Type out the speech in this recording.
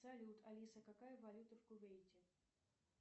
салют алиса какая валюта в кувейте